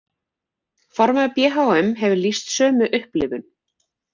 Formaður BHM hefur lýst sömu upplifun